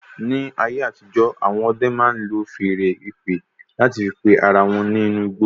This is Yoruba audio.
Ní ayé àtijó, awọn ọdẹ máa ń lò feèrè ìpè láti fí pé ará wọn nínú igbó